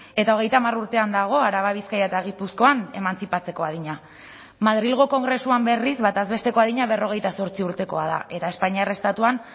eta hogeita hamar urtean dago araba bizkaia eta gipuzkoan emantzipatzeko adina madrilgo kongresuan berriz bataz besteko adina berrogeita zortzi urtekoa da eta espainiar estatuan